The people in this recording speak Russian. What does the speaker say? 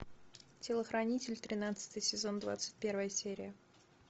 телохранитель тринадцатый сезон двадцать первая серия